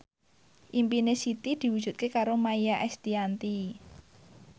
impine Siti diwujudke karo Maia Estianty